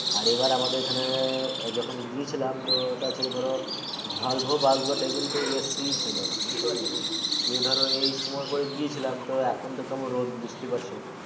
আর এবার আমাদের এখানে যখন গিয়েছিলাম তো ওটা ছিলো ধরো কিন্তু AC ছিলো না বুঝতে পারলে যে ধরো এ সময় করে গিয়েছিলাম তো এখন কেম রোদ কেমন বুঝতে পারছো